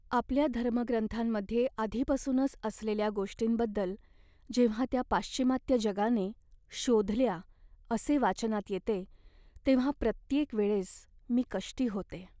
आपल्या धर्मग्रंथांमध्ये आधीपासूनच असलेल्या गोष्टींबद्दल जेव्हा त्या पाश्चिमात्य जगाने "शोधल्या" असे वाचनात येते तेव्हा प्रत्येक वेळेस मी कष्टी होते.